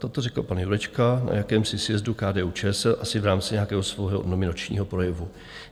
Toto řekl pan Jurečka na jakémsi sjezdu KDU-ČSL, asi v rámci nějakého svého nominačního projevu.